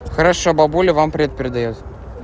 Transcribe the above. хорошо бабуля вам привет передаёт